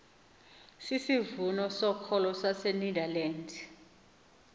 sisivumo sokholo sasenederland